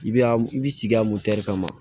I bɛ a i bɛ sigi a kama